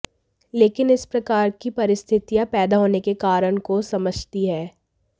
लेकिन इस प्रकार की परिस्थितियां पैदा होने के कारण को समझती है